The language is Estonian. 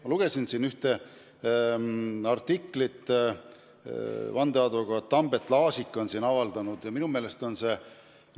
Ma lugesin ühte artiklit, vandeadvokaat Tambet Laasik on selle kirjutanud.